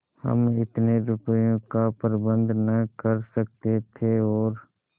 हम इतने रुपयों का प्रबंध न कर सकते थे और